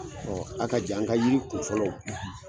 a ka jan n ka yiri kunfɔlɔw